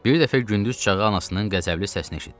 Bir dəfə gündüz çağı anasının qəzəbli səsini eşitdi.